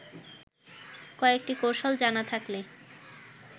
কয়েকটি কৌশল জানা থাকলে